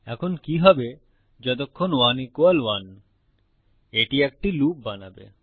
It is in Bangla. এখন কি হবে যতক্ষণ 1 1 এটি একটি লুপ বানাবে